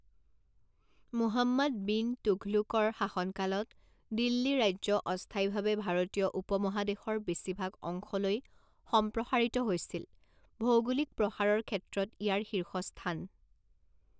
মুহাম্মাদ বিন তুঘলুকৰ শাসনকালত, দিল্লী ৰাজ্য অস্থায়ীভাৱে ভাৰতীয় উপমহাদেশৰ বেছিভাগ অংশলৈ সম্প্ৰসাৰিত হৈছিল, ভৌগোলিক প্ৰসাৰৰ ক্ষেত্ৰত ইয়াৰ শীৰ্ষস্থান।